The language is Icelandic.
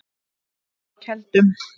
Keldum